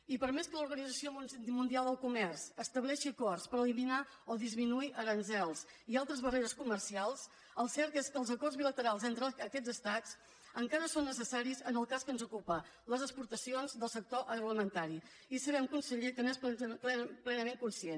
i per més que l’organització mundial del comerç estableixi acords per eliminar o disminuir aranzels i altres barreres comercials el cert és que els acords bilaterals entre aquests estats encara són necessaris en el cas que ens ocupa les exportacions del sector agroalimentari i sabem conseller que n’és plenament conscient